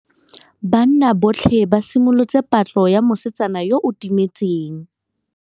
Banna botlhê ba simolotse patlô ya mosetsana yo o timetseng.